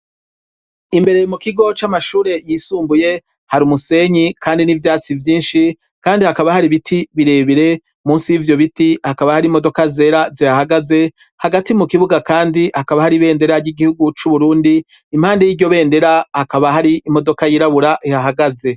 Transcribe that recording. Imbere mu kigo c'amashure yisumbuye hari umusenyi kandi n'ivyatsi vyinshi kandi hakaba hari ibiti birebire, musi y'ivyo biti hakaba hari imodoka zera zihahagaze hagati mu kibuga kandi hakaba hari ibendera y'igihugu c'u Burundi, impande y'iryo bendera hakaba hari imodoka yirabura ihahagaze.